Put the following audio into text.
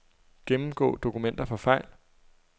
Gennemgå dokumenter for fejl.